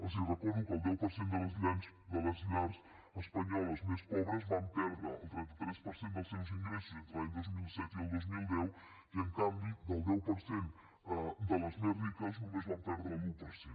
els recordo que el deu per cent de les llars espanyoles més pobres van perdre el trenta tres per cent dels seus ingressos entre l’any dos mil set i el dos mil deu i en canvi el deu per cent de les més riques només van perdre l’un per cent